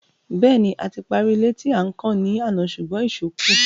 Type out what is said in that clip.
Bẹ́ẹ̀ni, a ti parí ilé tí à ń kàn ní àná ṣùgbọ́n ìṣó kù.